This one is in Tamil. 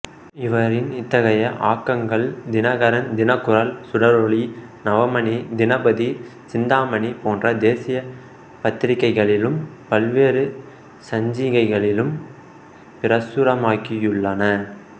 இவரின் இத்தகைய ஆக்கங்கள் தினகரன் தினக்குரல் சுடரொளி நவமணி தினபதி சிந்தாமணி போன்ற தேசிய பத்திரிகைகளிலும் பல்வேறு சஞ்சிகைகளிலும் பிரசுரமாகியுள்ளன